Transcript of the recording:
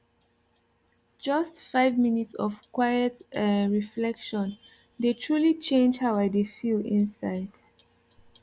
just five minutes of quiet um reflection dey truly change how i dey feel inside